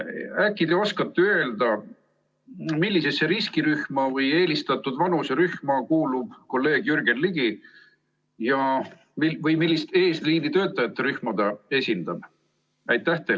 Äkki te oskate öelda, millisesse riskirühma või eelistatud vanuserühma kuulub kolleeg Jürgen Ligi või millist eesliinitöötajate rühma ta esindab?